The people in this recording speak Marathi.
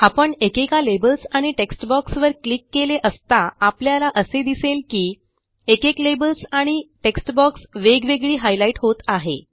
आपण एकेका लेबल्स आणि टेक्स्ट बॉक्स वर क्लिक केले असता आपल्याला असे दिसेल की एकेक लेबल्स आणि टेक्स्ट बॉक्स वेगवेगळी हायलाईट होत आहे